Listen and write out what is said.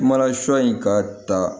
Mana sɔ in ka ta